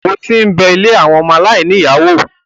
o ti bẹ “ilé àwọn ọmọ aláìní ìyá ” wò?